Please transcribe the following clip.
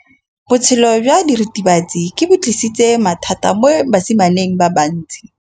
Botshelo jwa diritibatsi ke bo tlisitse mathata mo basimaneng ba bantsi.